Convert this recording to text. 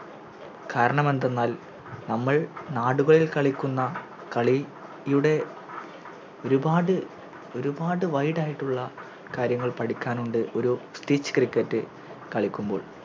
കാരണമെന്തെന്നാൽ നമ്മൾ നാടുകളിൽ കളിക്കുന്ന കളിയുടെ ഒരു പാട് ഒരുപാട് Wide ആയിട്ടുള്ള കാര്യങ്ങൾ പഠിക്കാനുണ്ട് ഒര് cricket കളിക്കുമ്പോൾ